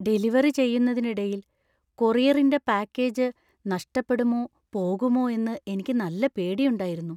Delivery ചെയ്യുന്നതിനിടയിൽ കൊറിയറിന്‍റെ package നഷ്ടപ്പെടുമോ പോകുമോ എന്ന് എനിക്ക് നല്ല പേടിയുണ്ടായിരുന്നു.